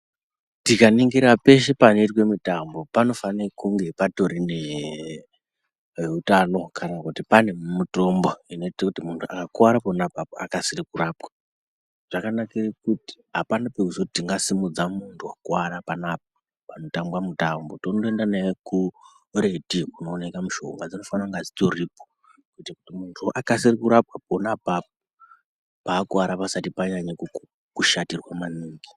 Tikaningira peshe panoitwe mitambo panofanira kunge patiro nee, veutano kana kuti pane mitombo inoita kuti munhtu akakuwara pona apapo akasire kurapwa. Zvakanakire kuti apana pekuzoti tingasimudze munthu wakuwara anapa panotambwa mitambo tomboenda naye kuretu iyo kunooneka mishonga dzinofana kunge dzitoripo kuti munthu akasire kurapwa pona apapo pakuwara pasati panyanya kushatirwa maningi.